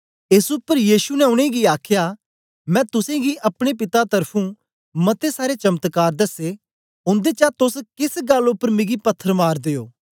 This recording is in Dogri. एस उपर यीशु ने उनेंगी आखया मैं तुसेंगी गी अपने पिता त्र्फुं मते सारे चमत्कार दसे उन्देचा तोस केस गल्ल उपर मिगी पत्थर मारदे ओ